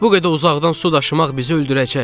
Bu qədər uzaqdan su daşımaq bizi öldürəcək.